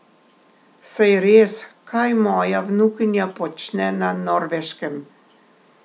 Saj res, kaj moja vnukinja počne na Norveškem?